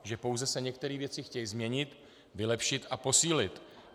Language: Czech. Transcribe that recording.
Že pouze se některé věci chtějí změnit, vylepšit a posílit.